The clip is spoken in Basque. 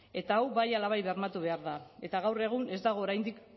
eta hau bai ala bai bermatu behar da eta gaur egun ez dago oraindik